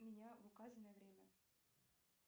меня в указанное время